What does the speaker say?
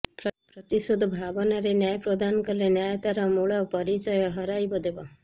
ପ୍ରତିଶୋଧ ଭାବନାରେ ନ୍ୟାୟ ପ୍ରଦାନ କଲେ ନ୍ୟାୟ ତାର ମୂଳ ପରିଚୟ ହରାଇବଦେବ